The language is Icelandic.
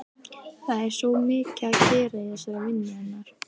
Það er svo mikið að gera í þessari vinnu hennar.